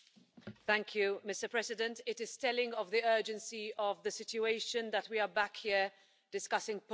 Mr President, it is telling of the urgency of the situation that we are back here discussing Poland today.